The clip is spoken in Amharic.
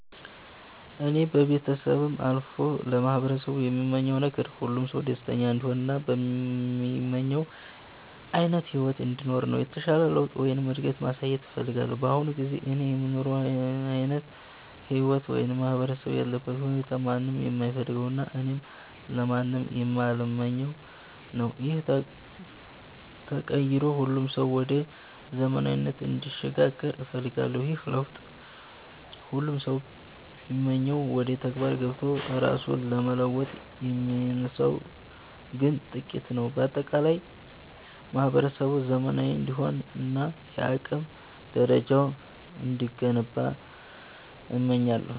እኔ ከቤተሰቤም አልፎ ለማህበረሰቡ የምመኘው ነገር፣ ሁሉም ሰው ደስተኛ እንዲሆን እና የሚመኘውን ዓይነት ሕይወት እንዲኖር ነው። የተሻለ ለውጥ ወይም እድገት ማየት እፈልጋለሁ። በአሁኑ ጊዜ እኔ የምኖረው ዓይነት ሕይወት ወይም ማህበረሰቡ ያለበት ሁኔታ ማንም የማይፈልገውና እኔም ለማንም የማልመኘው ነው። ይህ ተቀይሮ ሁሉም ሰው ወደ ዘመናዊነት እንዲሸጋገር እፈልጋለሁ። ይህንን ለውጥ ሁሉም ሰው ቢመኘውም፣ ወደ ተግባር ገብቶ ራሱን ለመለወጥ የሚነሳው ግን ጥቂቱ ነው። በአጠቃላይ ማህበረሰቡ ዘመናዊ እንዲሆንና የአቅም ደረጃው እንዲገነባ እመኛለሁ።